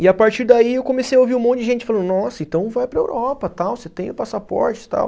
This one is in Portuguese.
E a partir daí eu comecei a ouvir um monte de gente falando, nossa, então vai para Europa, tal, você tem o passaporte, tal.